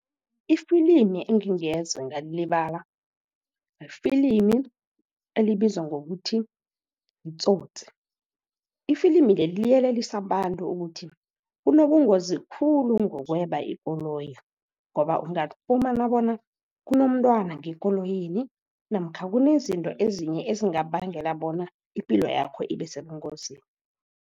Ifilimi engingeze ngalilibala yifilimi elibizwa ngokuthi yiTsotsi. Ifilimu leli liyelelisa abantu ukuthi, kunobungozi khulu ngokweba ikoloyi, ngoba ungafumana bona kunomntwana ngekoloyini namkha kunezinto ezinye, ezingabangela bona ipilo yakho ibe sebungozini.